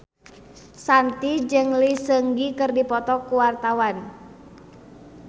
Shanti jeung Lee Seung Gi keur dipoto ku wartawan